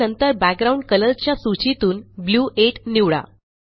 आणि नंतर बॅकग्राउंड कलरच्या सूचीतूनBlue 8 निवडा